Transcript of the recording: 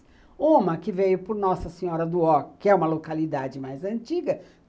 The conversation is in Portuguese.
Uma que veio por Nossa Senhora do Ó, que é uma localidade mais antiga.